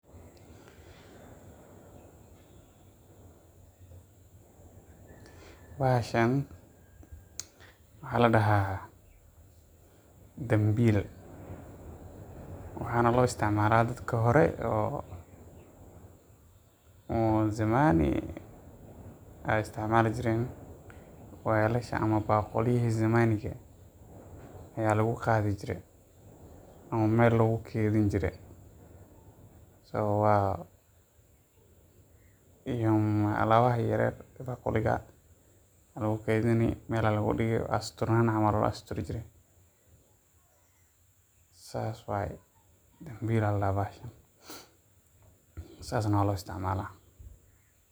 Bahashan waxaa ladahaa dambiil waxaana loo isticmaala dadka hore oo Zamani ayaa isticmaali jireen, weelasha ayaa lagu qaadi hire, ama meela lagu keedin jire, weelaha yaryar baaquli ayaa lagu keedin jire meel ayaa ladigi jire, marka dambiil ayaa ladahaa bahashan saas ayaa loo isticmaala.